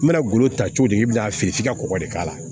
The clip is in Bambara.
N bɛna golo ta cogo di k'i bɛn'a feere f'i ka kɔgɔ de k'a la